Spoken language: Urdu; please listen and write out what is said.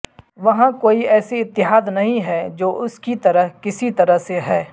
وہاں کوئی ایسی اتحاد نہیں ہے جو اس کی طرح کسی طرح سے ہے